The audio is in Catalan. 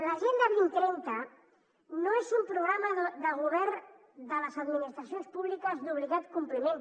l’agenda dos mil trenta no és un programa de govern de les administracions públiques d’obligat compliment